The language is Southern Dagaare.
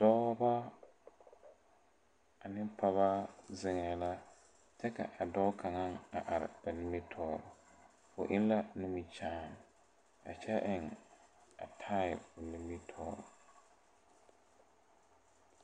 Dɔɔbɔ ane pɔgɔ zeŋɛɛ la kyɛ ka a dɔɔ kaŋa a are ba nimitoore o eŋ la nimikyaane a kyɛ eŋ a tai o nimitoore.